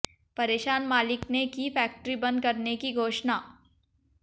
परेशान मालिक ने की फैक्टरी बन्द करने की घोषणा